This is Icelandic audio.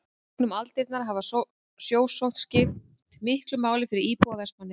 í gegnum aldirnar hefur sjósókn skipt miklu máli fyrir íbúa vestmannaeyja